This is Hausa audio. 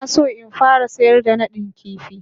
Ina so in fara sayar da nadin kifi.